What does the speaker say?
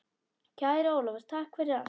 Kæri Ólafur, takk fyrir allt.